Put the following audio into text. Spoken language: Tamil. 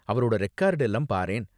அவரோட ரெக்கார்டெல்லாம் பாரேன்.